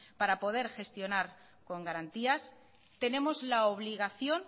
para poder gestionar con garantías tenemos la obligación